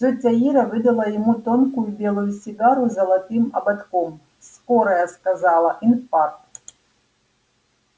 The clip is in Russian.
тётя ира выдала ему тонкую белую сигарету с золотым ободком скорая сказала инфаркт